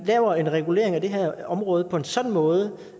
lavet en regulering af det her område på en sådan måde